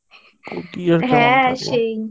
হ্যাঁ সেই